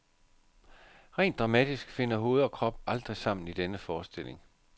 Rent dramatisk finder hoved og krop aldrig sammen i denne forestilling.